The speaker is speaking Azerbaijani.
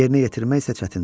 Yerinə yetirmək isə çətindir.